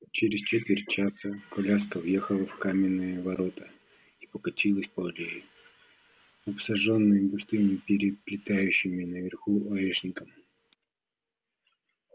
через четверть часа коляска въехала в каменные ворота и покатилась по аллее обсаженной густым переплетающими наверху орешником